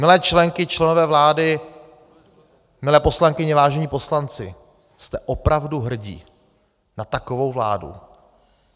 Milé členky, členové vlády, milé poslankyně, vážení poslanci, jste opravdu hrdí na takovou vládu?